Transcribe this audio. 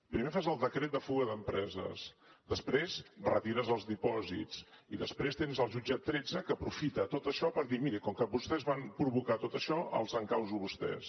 primer fas el decret de fuga d’empreses després retires els dipòsits i després tens el jutjat tretze que aprofita tot això per dir miri com que vostès van provocar tot això els encauso a vostès